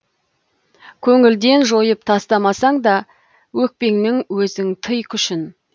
көңілден жойып тастамасаң да өкпеңнің өзің тый күшін